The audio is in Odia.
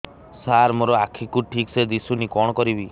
ସାର ମୋର ଆଖି କୁ ଠିକସେ ଦିଶୁନି କଣ କରିବି